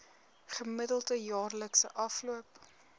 gemiddelde jaarlikse afloop